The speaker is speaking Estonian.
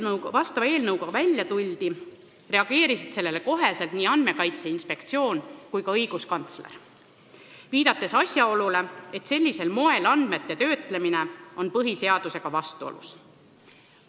Kui vastava eelnõuga välja tuldi, reageerisid sellele kohe nii Andmekaitse Inspektsioon kui ka õiguskantsler, viidates asjaolule, et sellisel moel andmete töötlemine on põhiseadusega vastuolus.